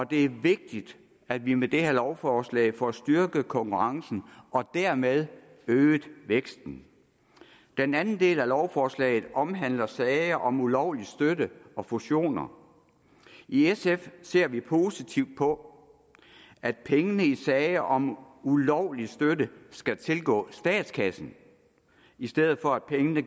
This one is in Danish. det er vigtigt at vi med det her lovforslag får styrket konkurrencen og dermed øget væksten den anden del af lovforslaget omhandler sager om ulovlig støtte og fusioner i sf ser vi positivt på at pengene i sager om ulovlig støtte skal tilgå statskassen i stedet for at pengene